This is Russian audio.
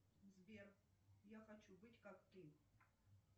сбер я хочу быть как ты